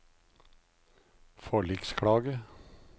forliksklage